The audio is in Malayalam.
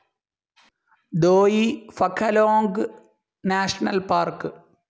ദോയി ഫാ ഖലോംഗ് നാഷണൽ പാർക്ക്‌